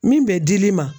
Min bɛ di'i ma